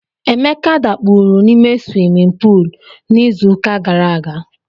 Emeka dakpuru n'ime swimin puul n'izuụka gara aga.